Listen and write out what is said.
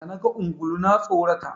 Da naga ungulu na tsorata.